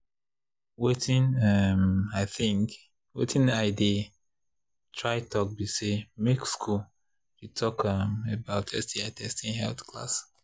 watin um i they try talk be say make school they talk um about sti testing health class